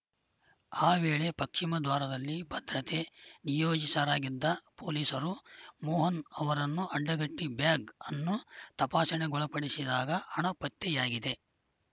ಆ ವೇಳೆ ಪಶ್ಚಿಮ ದ್ವಾರದಲ್ಲಿ ಭದ್ರತೆ ನಿಯೋಜಿತರಾಗಿದ್ದ ಪೊಲೀಸರು ಮೋಹನ್‌ ಅವರನ್ನು ಅಡ್ಡಗಟ್ಟಿಬ್ಯಾಗ್‌ ಅನ್ನು ತಪಾಸಣೆಗೊಳಪಡಿಸಿದಾಗ ಹಣ ಪತ್ತೆಯಾಗಿದೆ